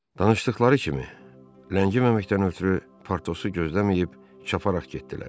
Danışdıqları kimi, ləngiməməkdən ötrü Partosu gözləməyib çaparaq getdilər.